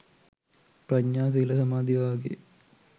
ප්‍රඥා සීල සමාධි වගේ